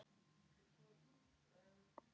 Og ljótur.